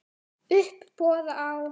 Uppboð á